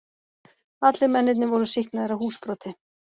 Allir mennirnir voru sýknaðir af húsbroti